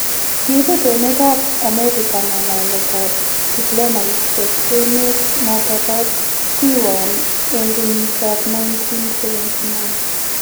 Kibuut emet ab America ngalalet ab tiplomasiak emet noton bo Taiwan ene kenyit ab 1979